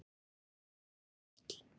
Er mjólk holl?